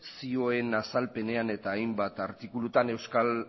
zioen azalpenean eta hainbat artikuluetan euskal